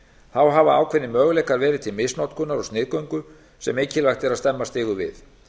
þá hafa ákveðnir möguleikar verið til misnotkunar og sniðgöngu sem mikilvægt er að stemma stigu við